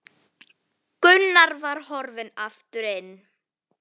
Gunnar var horfinn aftur inn.